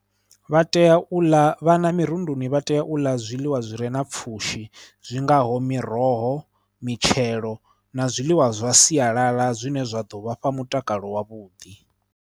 Vha tea u ḽa, vhana mirunduni vha tea u ḽa zwiḽiwa zwi re na pfhushi zwi ngaho miroho, mitshelo na zwiḽiwa zwa sialala zwine zwa ḓo vha fha mutakalo wa vhuḓi.